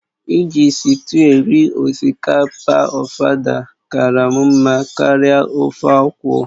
Iji sịtịụ eri osikapa ofada kara m mma karịa ofe akwụ